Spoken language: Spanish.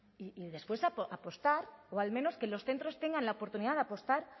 y después apostar o al menos que los centros tengan la oportunidad de apostar